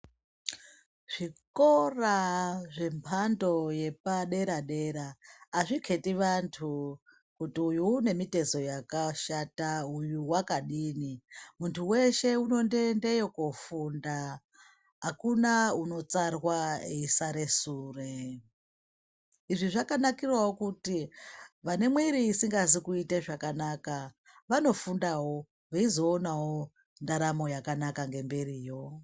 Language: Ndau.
Zvikora zvemhando yepadera-dera hazviketi vantu kuti uyu unemitezo yakashata uyu vakadini. Muntu veshe unondoendeyo kofunda hakuna unotsarwa eisare sure. Izvi zvakanakiravo kuti vane mwiri isingazi kuita zvakanaka vanofundavo veizoonavo ndaramo yakanaka ngemberiyo.